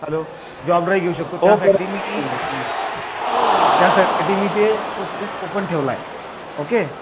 hello job drive घेऊ शकतो त्यासाठी मी ते स्पेस ओपन ठेवला आहे ओके